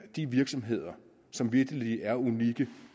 de virksomheder som vitterlig er unikke